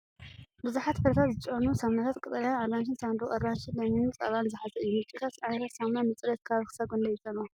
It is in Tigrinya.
ብዙሓት ፍረታት ዝጨኑ ሳሙናታት (ቀጠልያን ኣራንሺን ሳንዱቕ) ኣራንሺ፣ ለሚንን ጸባን ዝሓዘ እዩ። ምርጫታትን ዓይነታትን ሳሙና ንጽሬት ከባቢ ክሳብ ክንደይ ይጸልዎ?